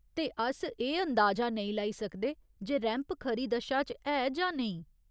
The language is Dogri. ते अस एह् अनदाजा नेई लाई सकदे जे रैंप खरी दशा च ऐ जां नेईं।